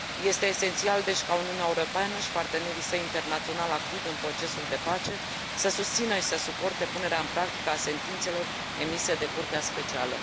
Este esențial, deci, ca Uniunea Europeană și partenerii săi internaționali activi în procesul de pace să susțină și să suporte punerea în practică a sentințelor emise de curtea specială.